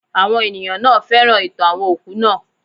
Àwọn ènìyàn náà féràn ìtàn àwọn òkú naa